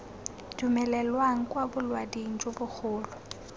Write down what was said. dumelelwang kwa bolaoding jo bogolo